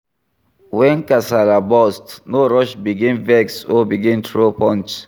When kasala burst no rush begin vex or begin throw punch